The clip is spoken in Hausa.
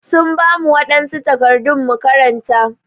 Sun bamu wadansu takardu mu karanta.